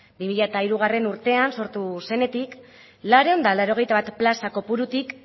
bi mila hirugarrena urtean sortu zenetik laurehun eta laurogeita bat plaza kopurutik